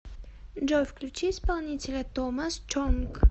джой включи исполнителя томас чонг